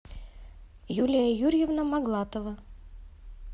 юлия юрьевна моглатова